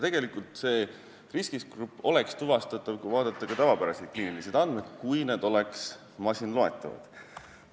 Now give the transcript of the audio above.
Tegelikult see riskigrupp oleks tuvastatav vaadates ka tavapäraseid kliinilisi andmeid, kui need oleks masinloetavad.